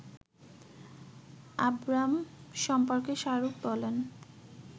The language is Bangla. আবরাম সম্পর্কে শাহরুখ বলেন